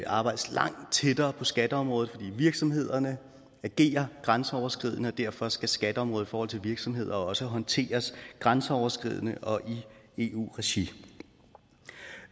arbejdes langt tættere på skatteområdet fordi virksomhederne agerer grænseoverskridende og derfor skal skatteområdet i forhold til virksomheder også håndteres grænseoverskridende og i eu regi